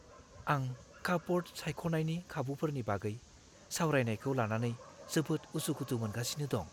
आं कापब'र्ड सायख'नायनि खाबुफोरनि बागै सावरायनायखौ लानानै जोबोद उसुखुथु मोनगासिनो दं।